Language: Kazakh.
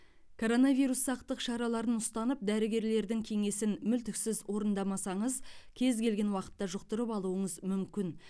коронавирус сақтық шараларын ұстанып дәрігерлердің кеңесін мүлтіксіз орындамасаңыз кез келген уақытта жұқтырып алуыңыз мүмкін